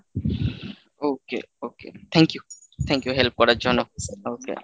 okay okay thank you thank you help করার জন্য okay